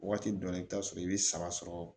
Waati dɔ la i bɛ taa sɔrɔ i bɛ saba sɔrɔ